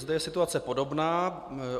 Zde je situace podobná.